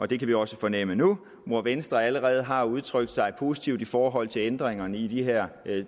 det kan vi også fornemme nu hvor venstre allerede har udtrykt sig positivt i forhold til ændringerne i de her